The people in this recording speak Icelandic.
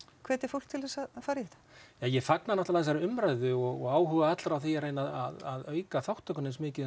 hvetja fólk til að fara í þetta ja ég fagna náttúrulega þessari umræðu og áhuga allra á því að reyna að auka þátttökuna eins mikið